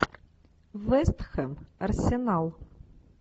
вест хэм арсенал